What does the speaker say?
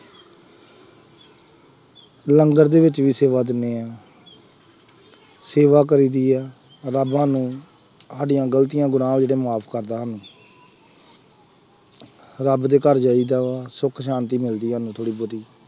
ਲੰਗਰ ਦੇ ਵਿੱਚ ਵੀ ਸੇਵਾ ਦਿੰਦੇ ਹਾਂ, ਸੇਵਾ ਕਰੀਦੀ ਹੈ, ਰੱਬ ਸਾਨੂੰ ਸਾਡੀਆਂ ਗਲਤੀਆਂ ਗੁਨਾਹ ਵੀ ਤਾਂ ਮੁਆਫ ਕਰਦਾ ਸਾਨੂੰ ਰੱਬ ਦੇ ਘਰ ਜਾਈਦਾ ਵਾ, ਸੁੱਖ ਸ਼ਾਂਤੀ ਮਿਲਦੀ ਆ ਥੋੜ੍ਹੀ ਬਹੁਤੀ।